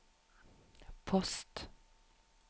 post